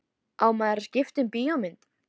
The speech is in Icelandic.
Á maður að skipta um bíómynd?